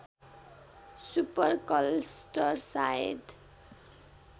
super cluster सायद